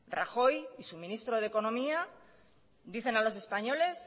rajoy y su ministro de economía dicen a los españoles